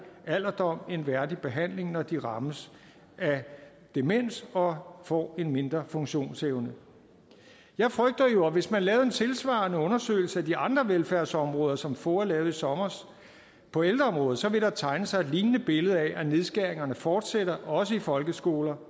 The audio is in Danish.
alderdom en værdig behandling når de rammes af demens og får en mindre funktionsevne jeg frygter jo at hvis man lavede en tilsvarende undersøgelse af de andre velfærdsområder som foa lavede i sommer på ældreområdet så ville der tegne sig et lignende billede af at nedskæringerne fortsætter også i folkeskoler